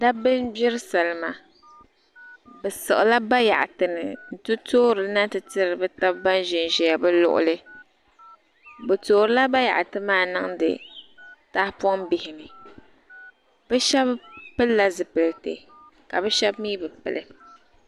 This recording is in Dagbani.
Dabba n gbiri salma bi siɣila bayaɣati ni n ti toori na ti tiri bi taba ban ʒen ʒɛya bi luɣuli bi toori bayaɣati maa niŋda tahapɔŋ bihi ni bi shaba pili la zipiliti ka bi shaba mi bi pili.